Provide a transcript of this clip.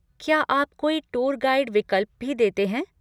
क्या आप कोई टूर गाइड विकल्प भी देते हैं?